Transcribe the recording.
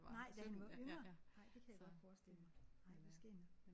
Nej da han var yngre. Nej det kan jeg godt forestille mig nej det er skægt nok